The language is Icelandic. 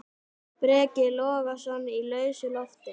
Breki Logason: Í lausu loft?